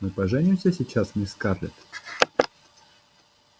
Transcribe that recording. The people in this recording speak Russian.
мы поженимся сейчас мисс скарлетт